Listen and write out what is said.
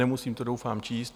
Nemusím to doufám číst.